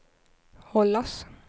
hållas